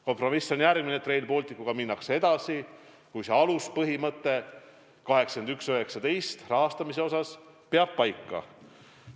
Kompromiss on järgmine, et Rail Balticuga minnakse edasi, kui aluspõhimõte 81/19 rahastamise osas peab paika.